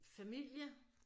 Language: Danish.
Familie